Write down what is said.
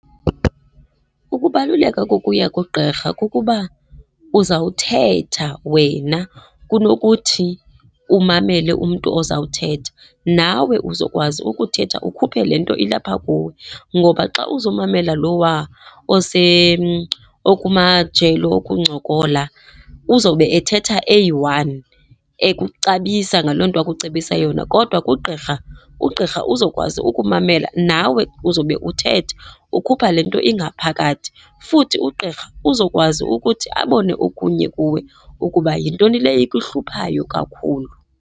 Ukubaluleka kokuya kugqirha kukuba uzawuthetha wena kunokuthi umamele umntu ozawuthetha. Nawe uzokwazi ukuthetha, ukhuphe le nto ilapha kuwe ngoba xa uzomamela lowaa okumajelo okuncokola, uzowube ethetha eyi-one ekucebisa ngaloo nto akucebisa yona. Kodwa kugqirha, ugqirha uzokwazi ukumamela. Nawe uzobe uthetha ukhupha le nto ingaphakathi, futhi ugqirha uzokwazi ukuthi abone okunye kuwe ukuba yintoni le ikuhluphayo kakhulu.